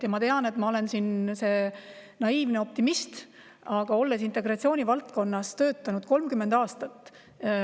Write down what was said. Ja ma tean, et ma olen siin see naiivne optimist, aga olen integratsiooni valdkonnas töötanud 30 aastat.